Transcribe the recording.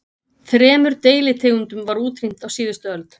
Þremur deilitegundum var útrýmt á síðustu öld.